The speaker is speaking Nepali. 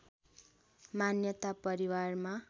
मान्यता परिवारमा